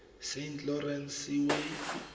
saint lawrence seaway